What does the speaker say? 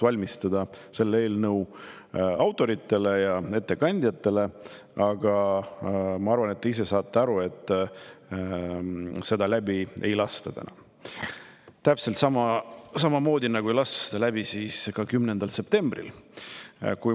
Ma ei taha pettumust eelnõu autoritele ja ettekandjale valmistada, aga ma arvan, et te saate ise ka aru, et seda täna läbi ei lasta, täpselt samamoodi, nagu ei lastud seda läbi ka 10. septembril.